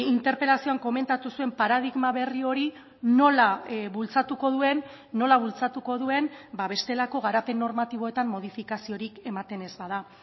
interpelazioan komentatu zuen paradigma berri hori nola bultzatuko duen nola bultzatuko duen bestelako garapen normatiboetan modifikaziorik ematen ez bada